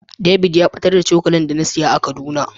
David ya batar da cokali da na siya a kaduna.